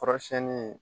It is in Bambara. Kɔrɔsiyɛnni